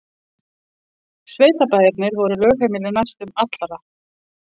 Sveitabæirnir voru lögheimili næstum allra.